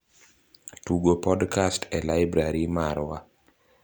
Tugo podkast e laibrari marwa